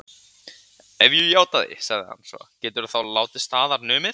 Ef ég játa því, sagði hann svo, geturðu þá látið staðar numið?